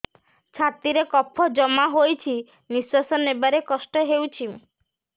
ଛାତିରେ କଫ ଜମା ହୋଇଛି ନିଶ୍ୱାସ ନେବାରେ କଷ୍ଟ ହେଉଛି